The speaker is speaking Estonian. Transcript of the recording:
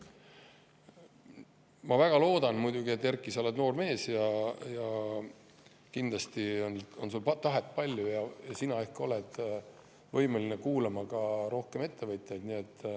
Ma muidugi väga loodan – Erkki, sa oled noor mees ja kindlasti on sul tahet palju –, et sa ikka oled võimeline kuulama rohkem ka ettevõtjaid.